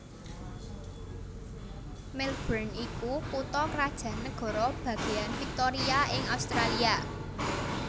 Melbourne iku kutha krajan nagara bagéan Victoria ing Australia